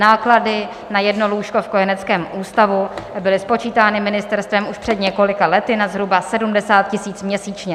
Náklady na jedno lůžko v kojeneckém ústavu byly spočítány ministerstvem už před několika lety na zhruba 70 000 měsíčně.